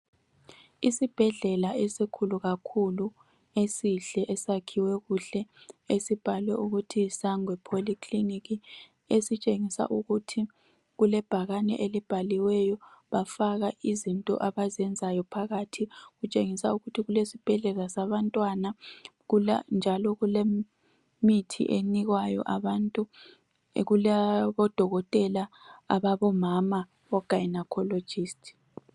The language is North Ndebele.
Isibhedlela esikhulu kakhulu esihle esakhiwe kuhle esibhalwe ukuthi Sangwe Polyclinic .Esitshengisa ukuthi kulebhakane elibhaliweyo bafaka izinto abazenzayo phakathi .Kutshengisa ukuthi kule sibhedlela sabantwana. Njalo kule mithi enikwayo abantu .Kulabodokotela ababomama o gynaecologist.